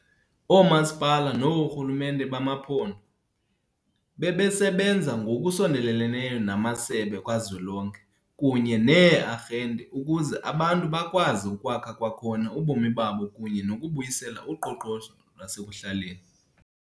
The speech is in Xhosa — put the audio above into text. OoMasipala noorhulumente bamaphondo bebesebenza ngokusondeleleneyo namasebe kazwelonke kunye nee-arhente ukuze abantu bakwazi ukwakha kwakhona ubomi babo kunye nokubuyisela uqoqosho lwasekuhlaleni.